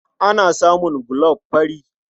Ana samun gulob fari.